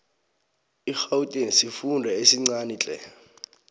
igauteng sifunda esincanitle